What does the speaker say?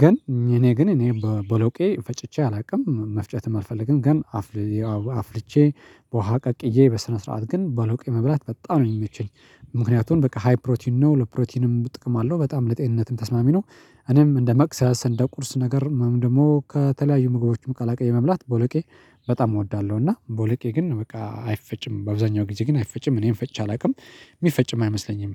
ግን እኔ ግን እኔ በበሎቄ ፈጭቼ አላውቅም መፍጨት አልፈልግም ግን አፍልቼ በውሃ ቀቅዬ በስነ ስርዓት ግን ባሎቄ መብላት በጣም ነው የሚመቸኝ። ምክንያቱም በቃ ሃይ ፕሮቲን ነው ለፕሮቲንም ጥቅም አለው በጣም ለጤንነትም ተስማሚ ነው። እኔም እንደ መክሰስ እንደ ቁርስ ነገር ወይም ደግሞ ከተለያዩ ምግቦችም ቀላቅዬ መብላት ቦሎቄ በጣም እወዳለሁ። እና ቦሎቄ ግን በቃ አይፈጭም በአብዛኛው ጊዜ ግን አይፈጭም እኔን ፈጭቼ አላውቅም። የሚፈጭም አይመስለኝም